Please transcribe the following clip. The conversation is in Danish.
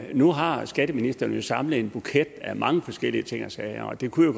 nu har skatteministeren jo samlet en buket af mange forskellige ting og sager og det kunne